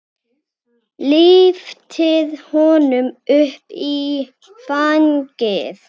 Lyftir honum upp í fangið.